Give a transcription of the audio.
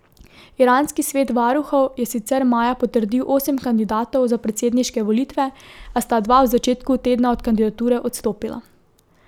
Iranski svet varuhov je sicer maja potrdil osem kandidatov za predsedniške volitve, a sta dva v začetku tedna od kandidature odstopila.